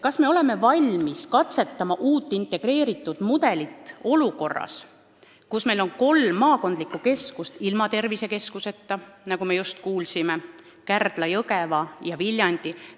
Kas me oleme valmis katsetama uut, integreeritud mudelit olukorras, kus meil on kolm maakonnakeskust ilma tervisekeskuseta: nagu me just kuulsime, Kärdla, Jõgeva ja Viljandi?